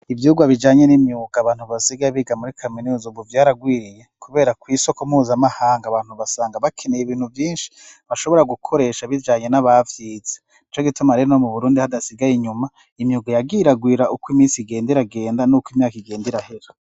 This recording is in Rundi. Ivyigwa bijanye n'imyuga abantu basigaye biga muri kaminuza ubu vyaragwiriye kubera kw'isoko mpuzamahanga abantu basanga bakeneye ibintu vyinshi bashobora gukoresha ibijanye n'abavyitse ico gituma reno mu burundi hadasigaye inyuma imyuga yagiragwira uko iminsi igenda iragenda nuko imyaka igenda irahera.